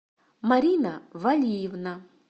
марина валиевна